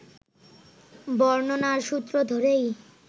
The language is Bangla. বর্ণনার সূত্র ধরেই